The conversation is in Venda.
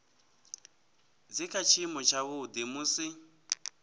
dzi kha tshiimo tshavhuḓi musi